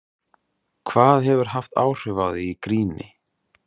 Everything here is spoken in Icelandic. Hvað hefur haft áhrif á þig í gríni?